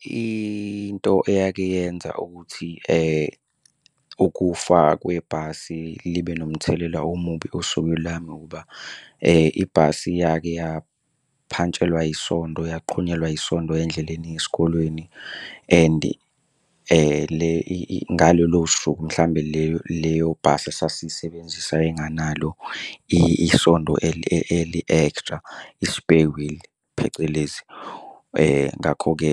Into eyake yenza ukuthi ukufa kwebhasi libe nomthelela omubi osukwini lami ukuba ibhasi yake yaphantshelwa yisondo, yaqhunyelwa yisondo endleleni eya esikolweni and ngalolo suku mhlawumbe leyo bhasi esasiyisebenzisa yayinganalo isondo eli-extra, i-spare wheel phecelezi. Ngakho-ke